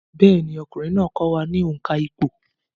Bẹ́ẹ̀ni, ọkùnrin náà kọ́ wa ní òǹkà ìpò